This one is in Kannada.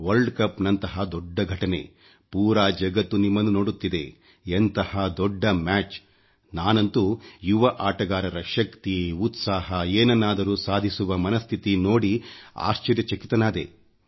ವಲ್ರ್ಡ್ ಕಪ್ ನಂಥಹ ದೊಡ್ಡ ಘಟನೆ ಪೂರಾ ಜಗತ್ತು ನಿಮ್ಮನ್ನು ನೋಡುತ್ತಿದೆ ಎಂತಹ ದೊಡ್ಡ ಮ್ಯಾಚ್ ನಾನಂತೂ ಯುವ ಆಟಗಾರರ ಶಕ್ತಿ ಉತ್ಸಾಹ ಏನನ್ನಾದರೂ ಸಾಧಿಸುವ ಮನಸ್ಥಿತಿ ನೋಡಿ ಆಶ್ಚರ್ಯಚಕಿತನಾದೆ